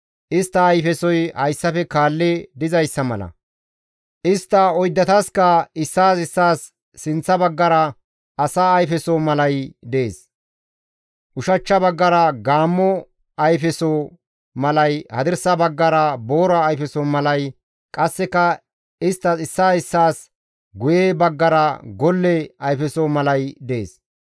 Istta ayfesoy hayssafe kaalli dizayssa mala; istta oyddatasikka issaas issaas sinththa baggara asa ayfeso malay dees; ushachcha baggara gaammo ayfeso malay, hadirsa baggara boora ayfeso malay, qasseka istta issaas issaas guye baggara golle ayfeso malay dees.